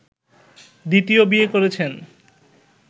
দ্বিতীয় বিয়ে করেছেন